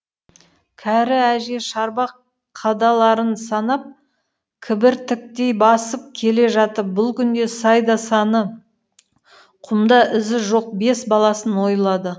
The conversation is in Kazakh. кәрі әже шарбақ қадаларын санап кібіртіктей басып келе жатып бүл күнде сайда саны құмда ізі жоқ бес баласын ойлады